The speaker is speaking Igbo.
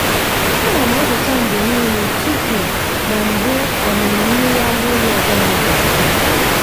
ana m azacha mgbe niile tupu na mgbe ọmịmị mmiri ara ehi ọ bụla gasịrị.